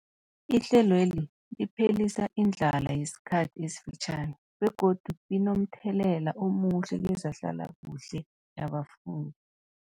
Ihlelweli liphelisa indlala yesikhathi esifitjhani begodu linomthelela omuhle kezehlalakuhle yabafundi.